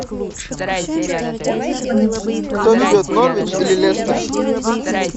кто ведет норвич или лестер